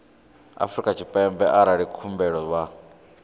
afrika tshipembe arali khumbelo vha